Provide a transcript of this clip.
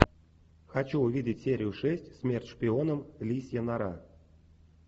хочу увидеть серию шесть смерть шпионам лисья нора